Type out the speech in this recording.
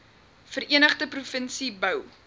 verenigde provinsie bou